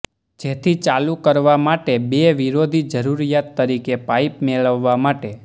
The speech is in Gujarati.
જેથી ચાલુ કરવા માટે બે વિરોધી જરૂરિયાત તરીકે પાઇપ મેળવવા માટે